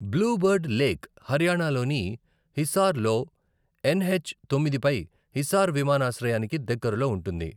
Blue Bird Lake హర్యానాలోని హిసార్ లో NH తొమ్మిది పై హిసార్ విమానాశ్రయానికి దగ్గరలో ఉంటుంది.